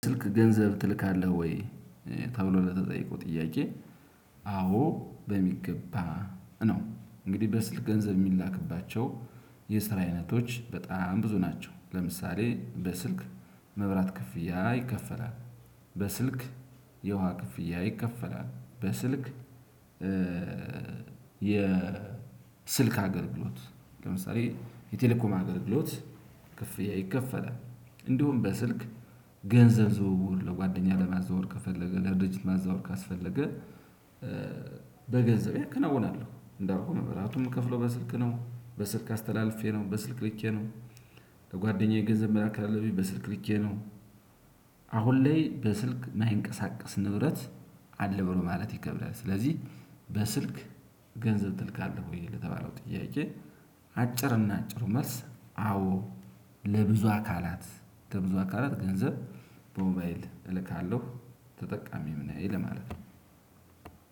"ስልክ ገንዘብ ትልካለህ ወይ?" ተብሎ ለተጠየቀው ጥያቄ አዎ በሚገባ ነው እንግዲህ በስልክ ገንዘብ የሚላክባቸው የስራ አይነቶች በጣም ብዙ ናቸው። ለምሳሌ በስልክ መብራት ክፍያ ይከፈላል፣ በስልክ የውሃ ክፍያ ይከፈላል፣ በስልክ የስልክ አገልግሎት ለምሳሌ የቴሌኮም አገልግሎት ክፍያ ይከፈላል፣ እንዲሁም በስልክ ገንዘብ ዝውውር ለጓደኛ ለማዘዋወር ከፈለገ ለድርጅት ማዘዋወር ካስፈለገ በገንዘቤ አከናውናለሁ። እንዳልኩህ ነው እራቱም የምከፍለው በስልክ ነው በስልክ አስተላልፌ ነው በስልክ ልኬ ነው። ለጓደኛዬ ገንዘብ መላክ ካለብኝ በስልክ ልኬ ነው። አሁን ላይ በስልክ የማይንቀሳቀስ ንብረት አለ ብሎ ማለት ይከብዳል። ስለዚህ "በስልክ ገንዘብ ትልካለህ ወይ?" ለተባለው ጥያቄ አጭር እና አጭሩ መልስ አዎ ለብዙ አካላት ለብዙ አካላት ገንዘብ በሞባይል እልካለሁ፣ ተጠቃሚም ነኝ ለማለት ነው።